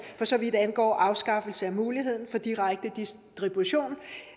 for så vidt angår afskaffelse af muligheden for direkte distribution